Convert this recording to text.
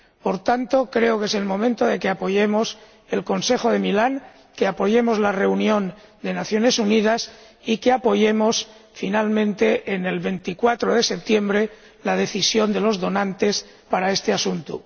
Por tanto, creo que es el momento de que apoyemos el Consejo de Milán, de que apoyemos la reunión de las Naciones Unidas y de que apoyemos finalmente, el 24 de septiembre, la decisión de los donantes sobre este asunto.